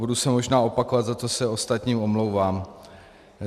Budu se možná opakovat, za co se ostatním omlouvám.